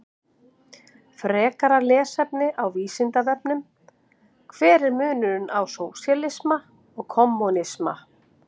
Frekara lesefni á Vísindavefnum: Hver er munurinn á sósíalisma og kommúnisma?